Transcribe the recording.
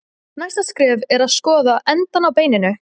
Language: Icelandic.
Næsta skref er að skoða endana á beininu.